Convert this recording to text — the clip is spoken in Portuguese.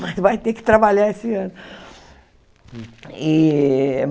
Mas vai ter que trabalhar esse ano. E